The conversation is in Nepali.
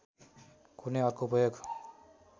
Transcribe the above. कुनै अर्को उपयोग